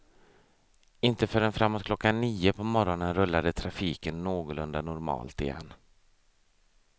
Inte förrän framåt klockan nio på morgonen rullade trafiken någorlunda normalt igen.